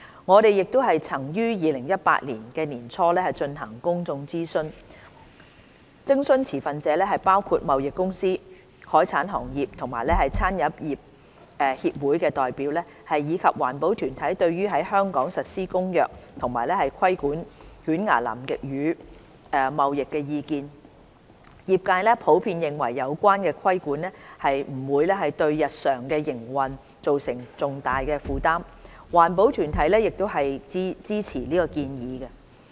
我們亦曾於2018年年初進行公眾諮詢，徵詢持份者包括貿易公司、海產行業和餐飲業協會的代表，以及環保團體對於在香港實施《公約》及規管犬牙南極魚貿易的意見，業界普遍認為有關的規管不會對日常營運造成重大負擔，環保團體亦支持建議。